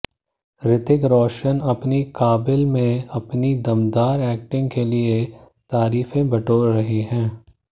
ऋतिक रोशन अपनी काबिल में अपनी दमदार एक्टिंग के लिए तारीफें बटोर रहे हैं